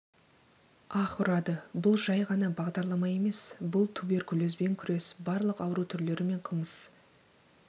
аһ ұрады бұл жай ғана бағдарлама емес бұл түберкулезбен күрес барлық ауру түрлері мен қылмыс